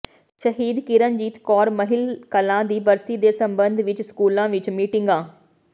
ਸ਼ਹੀਦ ਕਿਰਨਜੀਤ ਕੌਰ ਮਹਿਲ ਕਲਾਂ ਦੀ ਬਰਸੀ ਦੇ ਸਬੰਧ ਵਿਚ ਸਕੂਲਾਂ ਵਿਚ ਮੀਟਿੰਗਾਂ